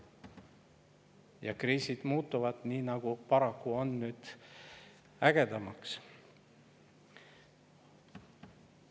Ja kriisid muutuvad, nii nagu paraku nüüd on, ägedamaks.